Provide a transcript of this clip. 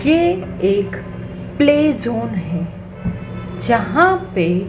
ये एक play zone है जहां पे।--